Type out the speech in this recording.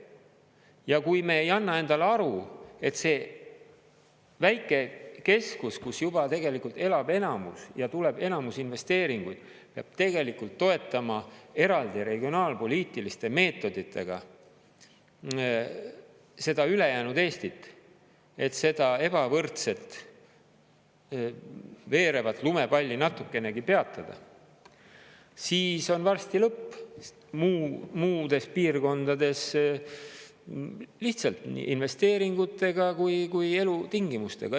Ja kui me ei anna endale aru, et see väike keskus, kus juba tegelikult elab enamus ja tuleb enamus investeeringuid, peab tegelikult toetama eraldi regionaalpoliitiliste meetoditega seda ülejäänud Eestit, et seda ebavõrdset veerevat lumepalli natukenegi peatada, siis on varsti lõpp muudes piirkondades lihtsalt nii investeeringutega kui elutingimustega.